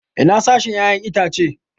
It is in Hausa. Ina sashen 'ya'yan itace?